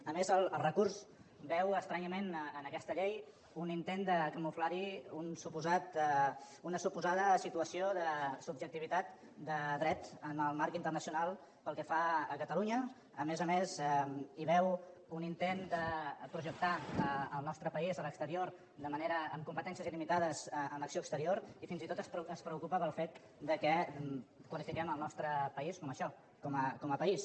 a més el recurs veu estranyament en aquesta llei un intent de camuflar hi una suposada situació de subjectivitat de dret en el marc internacional pel que fa a catalunya a més a més hi veu un intent de projectar el nostre país a l’exterior amb competències il·limitades en l’acció exterior i fins i tot es preocupa pel fet que qualifiquem el nostre país com a això com a país